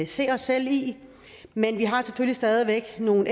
se os selv i men vi har stadig væk nogle